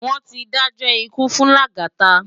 Wón ti dájò ikú fún Lagata